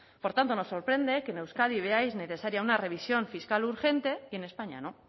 por tanto nos sorprende que en euskadi veáis necesaria una revisión fiscal urgente y en españa no